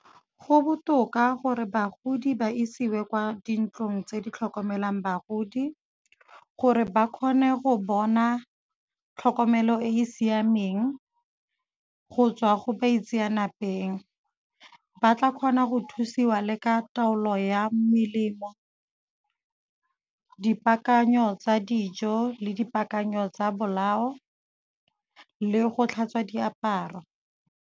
Go botoka gore bagodi ba isiwe kwa dintlong tse di tlhokomelang bagodi gore ba kgone go bona tlhokomelo e e siameng go tswa go baitseanapeng. Ba tla kgona go thusiwa le ka taolo ya melemo, dipaakanyo tsa dijo le dipaakanyo tsa bolao le go tlhatswa diaparo.